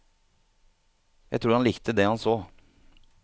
Jeg tror han likte det han så.